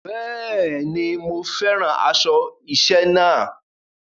Bẹ́ẹ̀ ni, mo fẹ́ràn aṣọ iṣẹ́ náà.